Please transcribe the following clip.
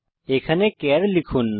এখানে চার লিখুন